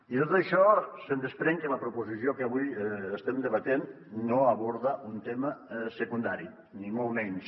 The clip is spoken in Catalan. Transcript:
i de tot això se’n desprèn que la proposició que avui estem debatent no aborda un tema secundari ni molt menys